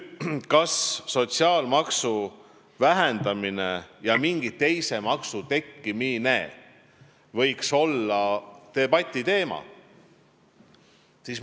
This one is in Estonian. Kas sotsiaalmaksu vähendamine ja mingi teise maksu tekkimine võiks olla debati teema?